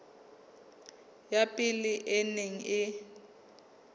ya pele e neng e